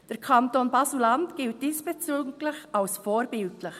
Der Kanton Basel-Landschaft gilt diesbezüglich als vorbildlich.